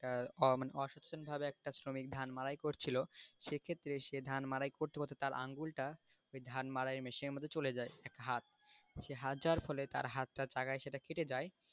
তার মানে অসুস্থভাবে একটা শ্রমিক ধান মাড়াই করছিলো সেক্ষেত্রে সে ধান মাড়াই করতে করতে তার আঙুলটা ওই ধান মাড়াই machine এর মধ্যে চলে যায় একটা হাত তো সেই হাত যাওয়ার ফলে সেই হাতটার জায়গায় সেটা কেটে যায়,